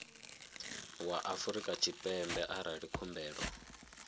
wa afrika tshipembe arali khumbelo